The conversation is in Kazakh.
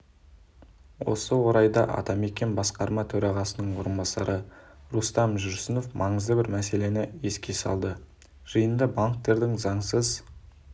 осы орайда атамекен басқарма төрағасының орынбасары рустам жүрсінов маңызды бір мәселені еске салды жиында банктердің заңсыз